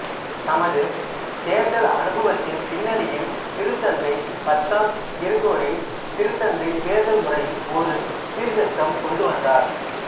தமது தேர்தல் அனுபவத்தின் பின்னணியில் திருத்தந்தை பத்தாம் கிரகோரி திருத்தந்தைத் தேர்தல் முறையில் ஒரு சீர்திருத்தம் கொண்டுவந்தார்